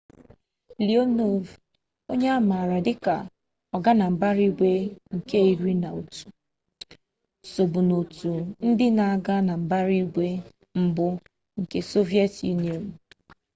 leonov onye a makwaara dịka ọganambaraigwe nke 11 sobu n'otu ndị na-aga na mbara igwe mbụ nke sọviyetị yunịọnụ